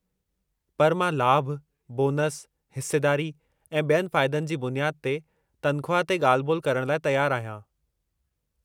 पर मां लाभु, बोनसु, हिस्सेदारी, ऐं ॿियनि फ़ाइदनि जी बुनियाद ते तनख़्वाह ते ॻाल्हि-ॿोल करणु लाइ तयारु आहियां।